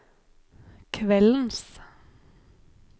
kveldens